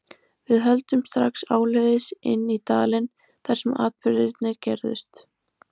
Við höldum strax áleiðis inn í dalinn þar sem atburðirnir gerðust.